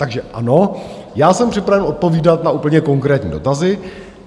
Takže ano, já jsem připraven odpovídat na úplně konkrétní dotazy.